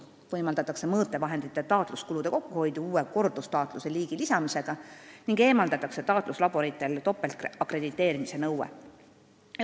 Ka võimaldatakse mõõtevahendite taatluse kulude kokkuhoidu, lisades uue kordustaatluse liigi, ning tühistatakse taatluslaborite topeltakrediteerimise nõue.